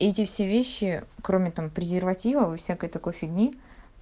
эти все вещи кроме там презервативов и всякой такой фигни